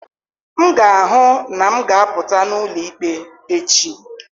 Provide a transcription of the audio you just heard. M ga-ahụ na m ga-apụta n'ụlọ ikpe echi.